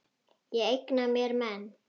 Ég eigna mér menn.